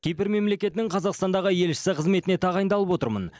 кипр мемлекетінің қазақстандағы елшісі қызметіне тағайындалып отырмын